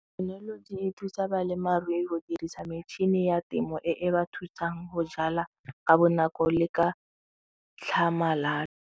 Thekenoloji e thusa balemarui go dirisa metšhini ya temo e e ba thusang go jala ka bonako le ka tlhamalalo.